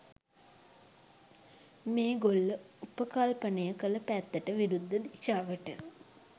මේගොල්ල උපකල්පනය කල පැත්තට විරුද්ධ දිශාවට.